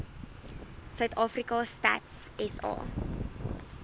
suidafrika stats sa